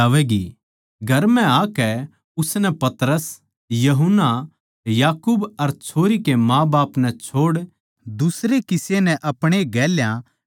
घर म्ह आकै उसनै पतरस यूहन्ना याकूब अर छोरी के माँबाप नै छोड़ दुसरे किसे नै अपणे गेल्या भीत्त्तर कोनी आण दिया